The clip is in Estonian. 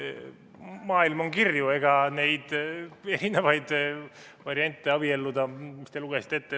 Maailm on kirju ja neid erinevaid abiellumise variante te lugesite ette.